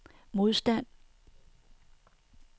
modstand